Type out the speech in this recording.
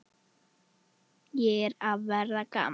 Ég er að verða gamall.